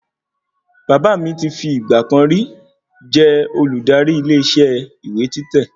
Bàbá mi ti fi ìgbàkan rí jẹ́ olùdarí ilé isẹ́ ìwé títẹ̀